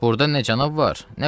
Burda nə cənab var, nə qulluq.